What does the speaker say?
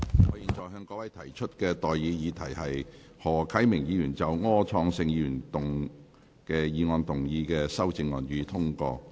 我現在向各位提出的待議議題是：何啟明議員就柯創盛議員議案動議的修正案，予以通過。